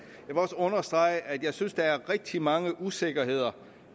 også understrege at jeg synes der er rigtig mange usikkerheder